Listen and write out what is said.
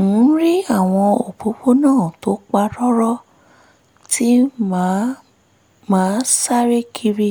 ń rí àwọn òpópónà tó pa rọ́rọ́ tí màá máa sáré kiri